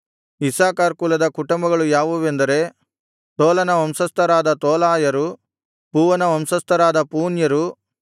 Issachar ಕುಲದ ಕುಟುಂಬಗಳು ಯಾವುವೆಂದರೆ ತೋಲನ ವಂಶಸ್ಥರಾದ ತೋಲಾಯರು ಪುವ್ವನ ವಂಶಸ್ಥರಾದ ಪೂನ್ಯರು